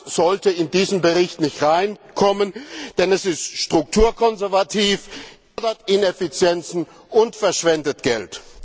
Das sollte in diesen Bericht nicht hineinkommen, denn es ist strukturkonservativ, fördert Ineffizienzen und verschwendet Geld.